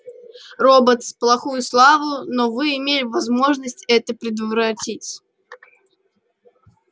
роботс плохую славу но вы имели возможность это предотвратить